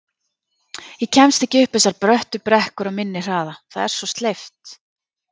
Ég kemst ekki upp þessar bröttu brekkur á minni hraða, það er svo sleipt